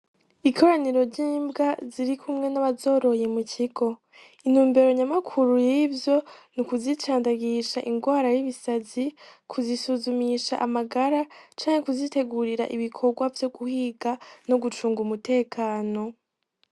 Ikoraniro ry'imbwa ziri kumwe n'abazoroye mu kigo. Intumbero nyamukuru y'ivyo, ni ukuzicandagisha ingwara y'ibisazi, kuzisuzumisha amagara canke kuzitegurira ibikorwa vyo guhiga no gucunga umutekano.